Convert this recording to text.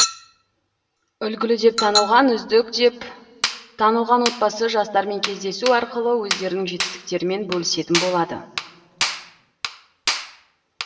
үлгілі деп танылған үздік деп танылған отбасы жастармен кездесу арқылы өздерінің жетістіктерімен бөлісетін болады